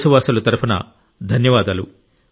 దేశవాసుల తరపున ధన్యవాదాలు